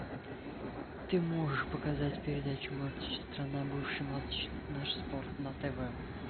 ты можешь показать передачу матч страна бывший матч наш спорт на тв